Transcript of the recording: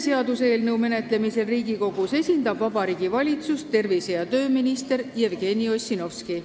Seaduseelnõu menetlemisel Riigikogus esindab Vabariigi Valitsust tervise- ja tööminister Jevgeni Ossinovski.